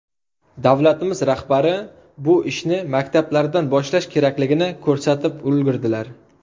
Davlatimiz rahbari bu ishni maktablardan boshlash kerakligini ko‘rsatib ulgurdilar.